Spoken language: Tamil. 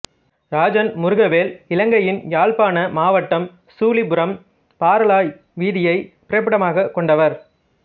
இராஜன் முருகவேல் இலங்கையின் யாழ்ப்பாண மாவட்டம் சுழிபுரம் பறாளாய் வீதியைப் பிறப்பிடமாகக் கொண்டவர்